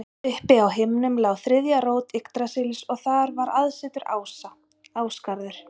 Uppi á himnum lá þriðja rót Yggdrasils og þar var aðsetur ása, Ásgarður.